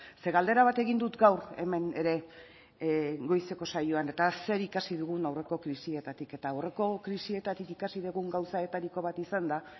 ze galdera bat egin dut gaur hemen ere goizeko saioan eta zer ikasi dugun aurreko krisiagatik eta aurreko krisietatik ikasi dugun gauzaetariko bat izan da